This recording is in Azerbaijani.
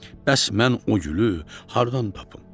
Bəs mən o gülü hardan tapım?